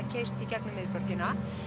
keyrt í gegnum miðborgina